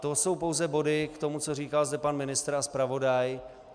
To jsou pouze body k tomu, co říkal zde pan ministr a zpravodaj.